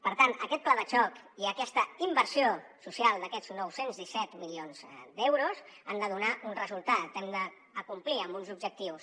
per tant aquest pla de xoc i aquesta inversió social d’aquests nou cents i disset milions d’euros han de donar un resultat hem d’acomplir amb uns objectius